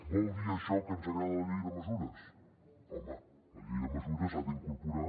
vol dir això que ens agrada la llei de mesures home la llei de mesures ha d’incorporar